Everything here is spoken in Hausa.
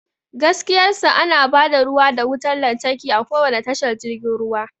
Gaskiyar sa, ana ba da ruwa da wutar lantarki a kowane tashar jirgin ruwa.